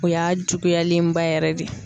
O y'a juguyalenba yɛrɛ de ye.